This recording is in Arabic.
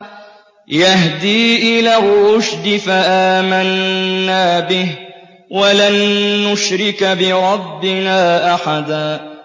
يَهْدِي إِلَى الرُّشْدِ فَآمَنَّا بِهِ ۖ وَلَن نُّشْرِكَ بِرَبِّنَا أَحَدًا